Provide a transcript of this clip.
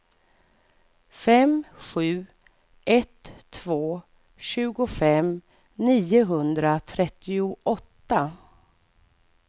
fem sju ett två tjugofem niohundratrettioåtta